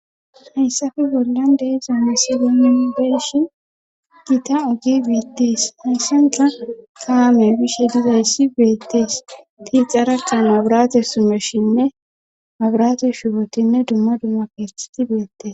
hayssafe bollan de'iza misilemi be'ishin giita oge beettees. hayssanka kaame bishe dizayssi beettees. tilxara qan abirate sumeshinne abirate shubotinne dumma dumma pertiti beettes